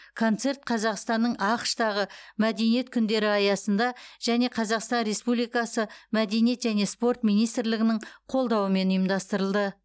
концерт қазақстанның ақш тағы мәдениет күндері аясында және қазақстан республикасы мәдениет және спорт министрлігінің қолдауымен ұйымдастырылды